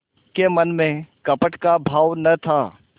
के मन में कपट का भाव न था